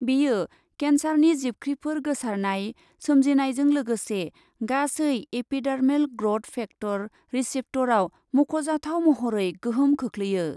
बेयो केन्सारनि जिबख्रिफोर गोसारनाय, सोमजिनायजों लोगोसे गासै एपिडार्मेल ग्र'थ फेक्टर रिसेप्टरआव मख'जाथाव महरै गोहोम खोख्लैयो।